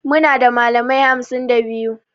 Muna da malamai hamsin da biyu